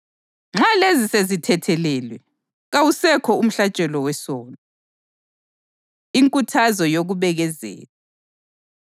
Wabuya wengeza wathi: “Izono zabo lezenzo zokungabi lomthetho, angiyikukhumbula futhi.” + 10.17 UJeremiya 31.34